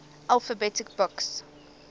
alphabet books